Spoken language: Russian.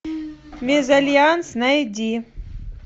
мезальянс найди